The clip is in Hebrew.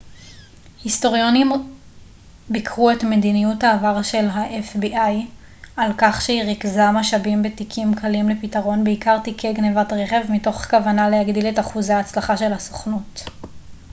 היסטוריונים ביקרו את מדיניות העבר של ה־fbi על כך שהיא ריכזה משאבים בתיקים קלים לפתרון בעיקר תיקי גנבת רכב מתוך כוונה להגדיל את אחוזי ההצלחה של הסוכנות